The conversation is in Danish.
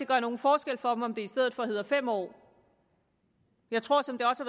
gør nogen forskel for dem om det i stedet for hedder fem år jeg tror som det også